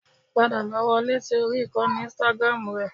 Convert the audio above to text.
Padà lọ wọlé sí orí ìkànnì Instagram rẹ